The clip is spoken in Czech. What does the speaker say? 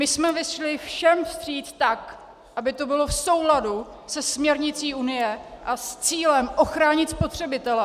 My jsme vyšli všem vstříc tak, aby to bylo v souladu se směrnicí Unie a s cílem ochránit spotřebitele.